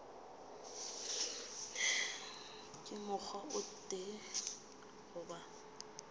ka mokgwa o tee goba